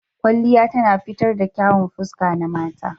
Kwalliya tana fitar da kyawun fuska na mata